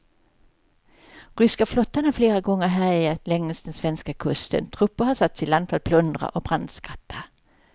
Ryska flottan har flera gånger härjat längs den svenska kusten, trupper har satts i land för att plundra och brandskatta.